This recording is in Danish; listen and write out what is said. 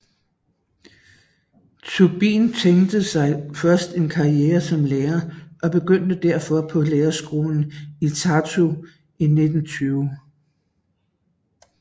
Tubin tænkte sig først en karriere som lærer og begyndte derfor på lærerskolen i Tartu i 1920